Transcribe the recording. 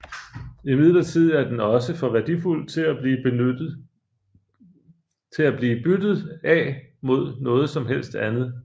Imidlertid er den også for værdifuld til at blive byttet af mod noget som helst andet